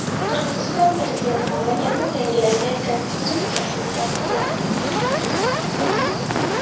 Qirg‘iziston prezidenti mamlakatning yangilangan konstitutsiyasini tasdiqladi.